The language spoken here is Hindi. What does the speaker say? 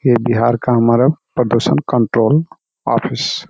ये बिहार का हमारा प्रदुषण कण्ट्रोल आफिस --